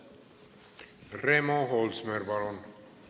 Remo Holsmer, palun!